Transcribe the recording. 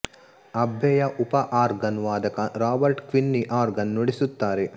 ಅಬ್ಬೆಯ ಉಪ ಆರ್ಗನ್ ವಾದಕ Robert Quinney organ ನುಡಿಸುತ್ತಾರೆ